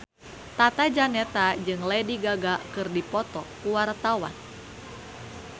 Tata Janeta jeung Lady Gaga keur dipoto ku wartawan